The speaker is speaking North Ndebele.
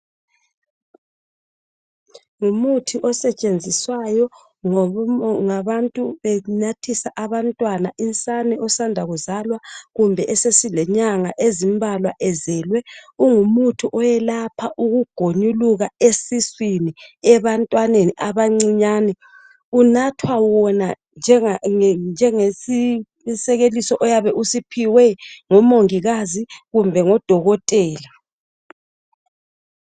ngumuthi osetshenziswayo ngabantu benathisa abantwana insane abasanda kuzalwa kumbe essile nyanga ezimbalwa ezelwe ungumuthi oyelapha ukugonyuluka esiswini ebantwaneni abancinyane unathwa wona njengesi sekeliso esiphiwe ngomongikazi kumbe ngodokotela